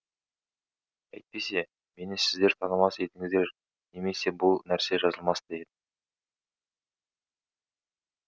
әйтпесе мені сіздер танымас едіңіздер немесе бұл нәрсе жазылмас та еді